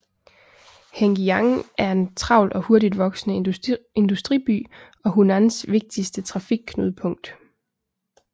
Hengyang er en travl og hurtigt voksende industriby og Hunans vigtigste trafikknudepunkt